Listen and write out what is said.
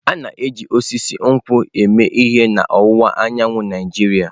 A na-eji osisi nkwụ eme ihe n'ọwụwa anyanwụ Naijiria.